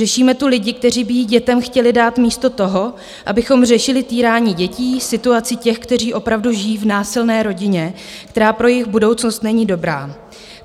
Řešíme tu lidi, kteří by ji dětem chtěli dát, místo toho, abychom řešili týrání dětí, situaci těch, kteří opravdu žijí v násilné rodině, která pro jejich budoucnost není dobrá.